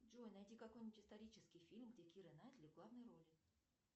джой найди какой нибудь исторический фильм где кира найтли в главной роли